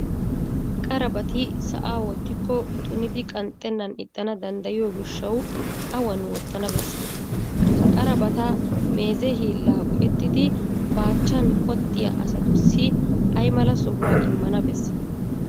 Qarabati sa'a wottikko tunidi qanxxennan ixxana danddayiyo gishshawu awan wottana bessii? Ha qarabata mayzza hiillaa go"ettidi baachchan qoxxiya asatussi ay mala sohuwa immana bessii?